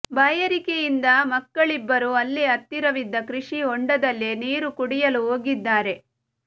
ಬಾಯಾರಿಕೆಯಿಂದ ಮಕ್ಕಳಿಬ್ಬರು ಅಲ್ಲೇ ಹತ್ತಿರವಿದ್ದ ಕೃಷಿ ಹೊಂಡದಲ್ಲಿ ನೀರು ಕುಡಿಯಲು ಹೋಗಿದ್ದಾರೆ